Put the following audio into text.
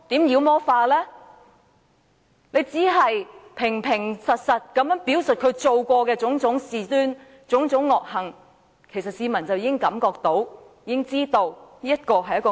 我們只要平實表述他做過的種種事端惡行，市民便已體會到他是一名惡魔。